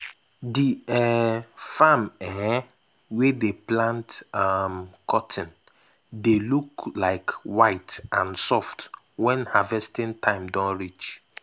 d um farm um wey dey plant um cotton dey look white and soft wen harvesting time don reach.